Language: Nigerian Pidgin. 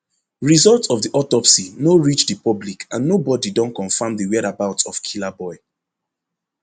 result of di autopsy no reach di public and nobody don confam di whereabout of killaboi